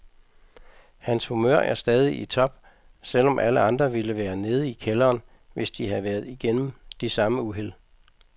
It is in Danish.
Hans humør er stadig i top, selv om alle andre ville være nede i kælderen, hvis de havde været igennem de samme uheld.